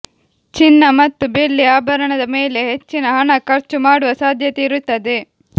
ಚಿನ್ನ ಮತ್ತು ಬೆಳ್ಳಿ ಆಭರಣದ ಮೇಲೆ ಹೆಚ್ಚಿನ ಹಣ ಖರ್ಚು ಮಾಡುವ ಸಾಧ್ಯತೆ ಇರುತ್ತದೆ